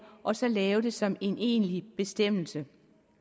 og så lave det som en egentlig bestemmelse